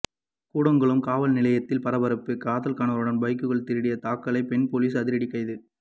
கூடங்குளம் காவல்நிலையத்தில் பரபரப்பு காதல் கணவருடன் பைக்குகள் திருடிய தக்கலை பெண் போலீஸ் அதிரடி கைது